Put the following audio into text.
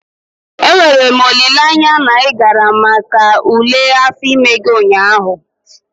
Enwere m olileanya na ị gara maka ule afọ ime gị ụnyaahụ?